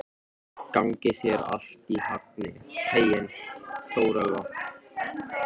Gangi þér allt í haginn, Þórelfa.